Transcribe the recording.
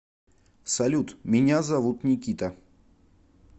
салют меня зовут никита